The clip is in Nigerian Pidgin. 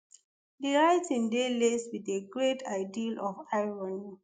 di writing dey laced wit a great ideal of irony